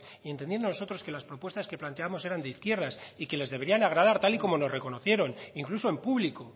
y entendiendo nosotros que las propuestas que planteábamos eran de izquierdas y que les deberían agradar tal y como nos reconocieron incluso en público